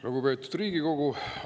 Lugupeetud Riigikogu!